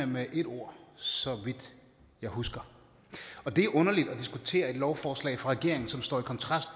med et ord så vidt jeg husker og det er jo underligt at diskutere et lovforslag fra regeringen som står i kontrast